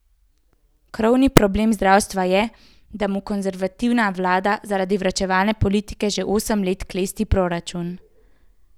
Krovni problem zdravstva je, da mu konservativna vlada zaradi varčevalne politike že osem let klesti proračun.